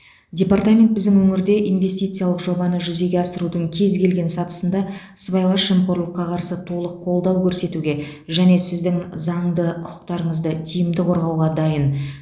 департамент біздің өңірде инвестициялық жобаны жүзеге асырудың кез келген сатысында сыбайлас жемқорлыққа қарсы толық қолдау көрсетуге және сіздің заңды құқықтарыңызды тиімді қорғауға дайын